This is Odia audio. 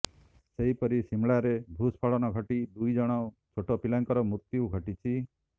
ସେହିପରି ସିମ୍ଲାରେ ଭୂସ୍ଖଳନ ଘଟି ଦୁଇ ଜଣ ଛୋଟ ପିଲାଙ୍କର ମୃତ୍ୟ ଘଟିଛି